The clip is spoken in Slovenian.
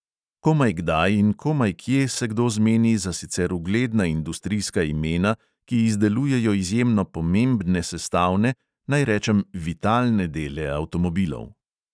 Komaj kdaj in komaj kje se kdo zmeni za sicer ugledna industrijska imena, ki izdelujejo izjemno pomembne sestavne, naj rečem vitalne dele avtomobilov.